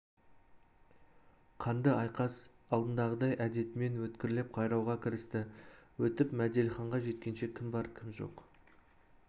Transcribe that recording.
қанды айқас алдындағыдай әдетімен өткірлеп қайрауға кірісті өтіп мәделіге жеткенше кім бар кім жоқ